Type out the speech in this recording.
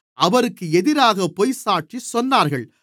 அவருக்கு எதிராகப் பொய்சாட்சி சொன்னார்கள்